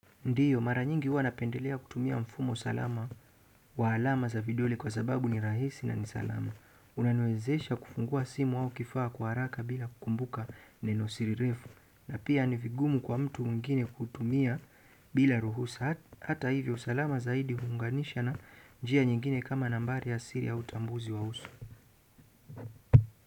Ndiyo, mara nyingi huwa napendelea kutumia mfumo wa usalama wa alama za vidole kwa sababu ni rahisi na ni salama. Unaniwezesha kufungua simu au kifaa kwa haraka bila kukumbuka neno la siri refu. Na pia ni vigumu kwa mtu mwingine kutumia bila ruhusa. Hata hivyo, usalama zaidi huunganisha na njia nyingine kama nambari ya siri au utambuzi wa uso.